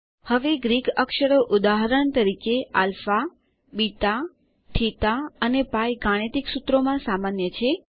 હવે ગ્રીક અક્ષરો ઉદાહરણ તરીકે આલ્ફા બીટા થીટા અને પાઇ ગાણિતિક સૂત્રોમાં સામાન્ય છે